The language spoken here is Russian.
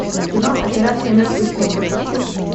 кино операция мертвый снег запусти